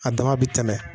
A dama bɛ tɛmɛ